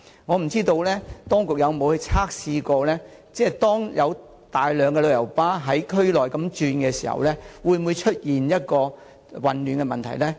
當局曾否進行測試，以了解當有大量旅遊巴士在區內行駛時會否出現混亂呢？